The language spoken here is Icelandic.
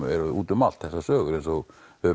eru út um allt þessar sögur eins og